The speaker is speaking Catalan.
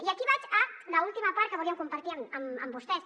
i aquí vaig a l’última part que volíem compartir amb vostès